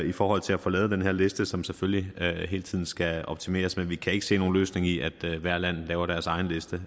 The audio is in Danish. i forhold til at få lavet den her liste som selvfølgelig hele tiden skal optimeres men vi kan ikke se nogen løsning i at hvert land laver deres egen liste